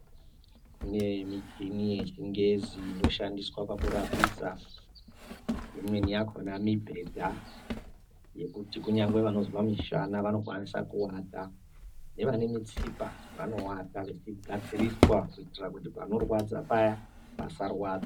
Kune michini yechingezi inoshandiswa pakurapisa. Imweni yakona mibhedha yekuti kunyangwe vanozwe mishana vanokwanisa kuwata, nevane mitsipa vanowata yeigadziriswa kuitira kuti panorwadza paya pasarwadza.